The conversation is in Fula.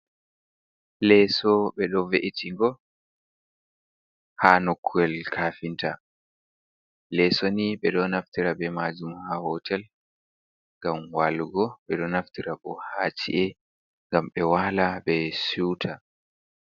Leeso ɓe ɗo ve'itingo ha nokkuyel kaafinta, leeso ni ɓe ɗo naftira be maajum ha hootel ngam waalugo, ɓe ɗo naftira bo ha ci’e ngam ɓe waala ɓe siwta.